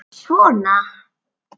Svona